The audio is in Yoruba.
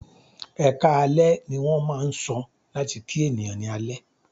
"Ẹkáalẹ́" ní wọ́n máà ń sọ láti kí ènìyàn ní alẹ́.